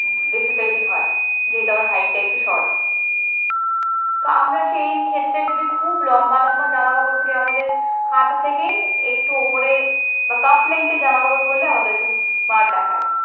difficulty হয় জেতার hight এ একটু short তো আমরা সেই ক্ষেত্রে যদি খুব লম্বা লম্বা জামা কাপড় পড়ে আমাদের, হাথে থেকে একটু উপরে, link এ জামা কাপড় পড়লে আমাদের কে smart দেখায়